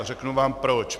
A řeknu vám proč.